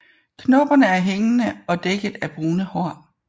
Knopperne er hængende og dækket af brune hår